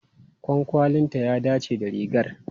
Kwankwalinta ya dace da rigar.